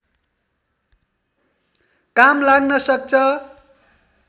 काम लाग्न सक्छ